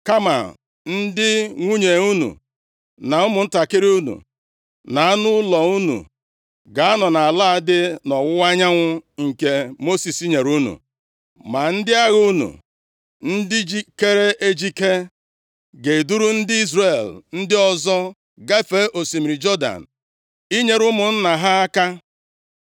Kama ndị nwunye unu, na ụmụntakịrị unu, na anụ ụlọ unu, ga-anọ nʼala a dị nʼọwụwa anyanwụ nke Mosis nyere unu. Ma ndị agha unu, ndị jikeere ejike, ga-eduru ndị Izrel ndị ọzọ gafee osimiri Jọdan inyere ụmụnna ha aka,